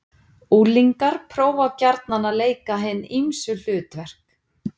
Unglingar prófa gjarnan að leika hin ýmsu hlutverk.